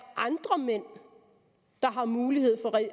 har mulighed for